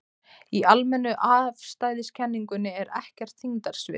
Í almennu afstæðiskenningunni er ekkert þyngdarsvið.